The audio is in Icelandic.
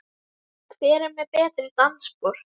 Hver er með betri dansspor?